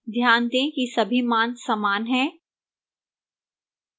ध्यान दें कि सभी मान समान हैं